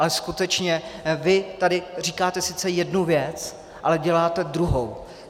Ale skutečně vy tady říkáte sice jednu věc, ale děláte druhou.